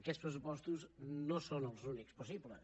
aquests pressupostos no són els únics possibles